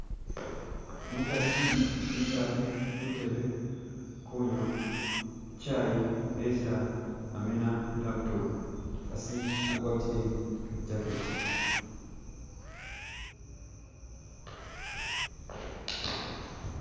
Umukasi wekaale kutebe kunywa chayi nga esi amina i'laptop umukasi agwatile kajaketi .